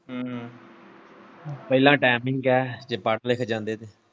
ਹੂੰ ਹੂੰ ਪਹਿਲਾ timing ਐ ਜੇ ਪੜ ਲੇ ਤਾਂ।